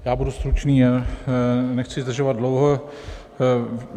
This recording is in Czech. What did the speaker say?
Já budu stručný, nechci zdržovat dlouho.